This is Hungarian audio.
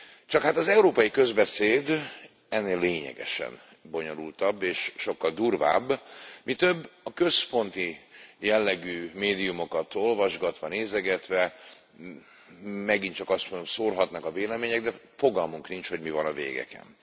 Csak hát az európai közbeszéd ennél lényegesen bonyolultabb és sokkal durvább, mi több, a központi jellegű médiumokat olvasgatva, nézegetve megint csak azt mondhatom, szórhatnak a vélemények, de fogalmunk nincs, hogy mi van a végeken.